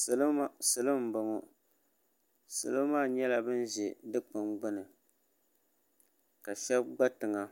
Salo m-bɔŋɔ salo maa nyɛla ban ʒe dukpuni gbuni ka shɛba gba tiŋa